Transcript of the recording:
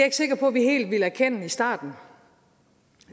ikke sikker på at vi helt ville erkende i starten